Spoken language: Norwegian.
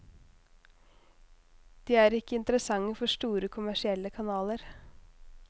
De er ikke interessante for store, kommersielle kanaler.